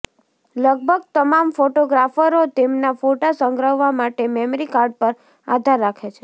લગભગ તમામ ફોટોગ્રાફરો તેમના ફોટા સંગ્રહવા માટે મેમરી કાર્ડ પર આધાર રાખે છે